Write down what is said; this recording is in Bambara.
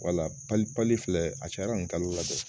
Wala pali filɛ a cayara nin kalo la dɛ.